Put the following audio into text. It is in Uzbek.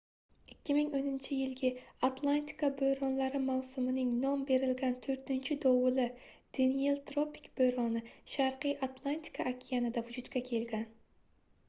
2010-yilgi atlantika boʻronlari mavsumining nom berilgan toʻrtinchi dovuli deniel tropik boʻroni sharqiy atlantika okeanida vujudga kelgan